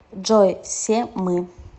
джой все мы